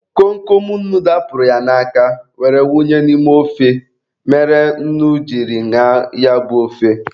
Kom Kom nnu dapụrụ ya n'aka were wunye n'ime ofe mere nnu jiri ñaa ya bụ ofe.